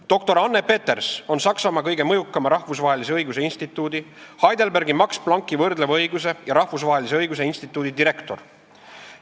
Doktor Anne Peters on Saksamaa kõige mõjukama rahvusvahelise õiguse instituudi, Heidelbergi Max Plancki võrdleva õiguse ja rahvusvahelise õiguse instituudi direktor.